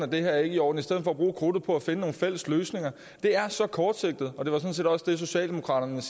det ikke er i orden i stedet for at bruge krudtet på at finde nogle fælles løsninger det er så kortsigtet og det var sådan set også det socialdemokraterne